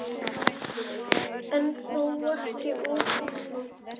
En þó ekki of illa.